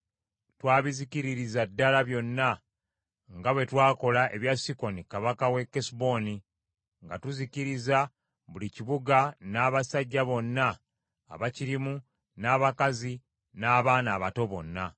Twabizikiririza ddala byonna nga bwe twakola ebya Sikoni kabaka w’e Kesuboni, nga tuzikiriza buli kibuga n’abasajja bonna abaakirimu n’abakazi n’abaana abato bonna.